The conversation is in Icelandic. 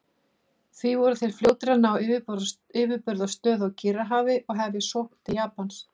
Því voru þeir fljótir að ná yfirburðastöðu á Kyrrahafi og hefja sókn til Japans.